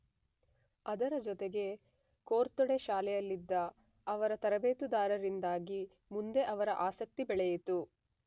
ಅದರ ಜೊತೆಗೆ ಕೊರ್ತೊಡೆ ಶಾಲೆಯಲ್ಲಿದ್ದ ಅವರ ತರಬೇತುದಾರರಿಂದಾಗಿ ಮುಂದೆ ಅವರ ಆಸಕ್ತಿ ಬೆಳೆಯಿತು.